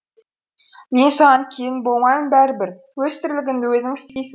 мен саған келін болмаймын бәрібір өз тірлігіңді өзің істейсің